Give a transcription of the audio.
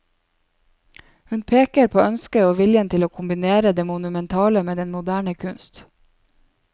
Hun pekere på ønsket og viljen til å kombinere det monumentale med den moderne kunst.